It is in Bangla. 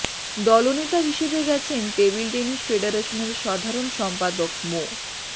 দলনেতা হিসেবে গেছেন টেবিল টেনিস ফেডারেশনের সাধারণ সম্পাদক মো